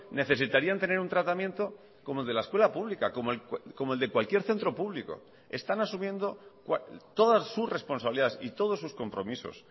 necesitarían tener un tratamiento como el de la escuela pública como el de cualquier centro público están asumiendo todas sus responsabilidades y todos sus compromisos